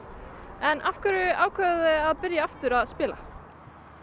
en af hverju ákváðuð þið að byrja aftur að spila